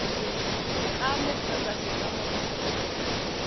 setlamo kgotsa setlamo sa porofense